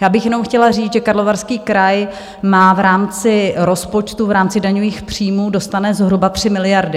Já bych jenom chtěla říct, že Karlovarský kraj má v rámci rozpočtu, v rámci daňových příjmů dostane zhruba 3 miliardy.